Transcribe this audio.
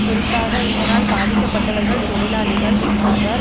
குறிப்பாக இதனால் பாதிக்கப்பட்டவர்கள் தொழிலாளிகள் ஆவர்